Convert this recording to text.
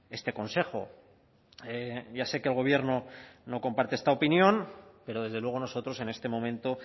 este consejo ya sé que el gobierno no comparte esta opinión pero desde luego nosotros en este momento